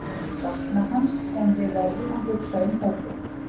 Við munum sakna hans en við verðum að hugsa um hópinn.